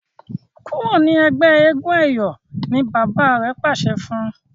kúrò ní ègbé éégun eyọ! ní bàbá rẹ pàṣẹ fún.